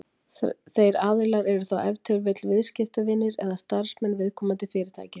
Þeir aðilar eru þá ef til vill viðskiptavinir eða starfsmenn viðkomandi fyrirtækis.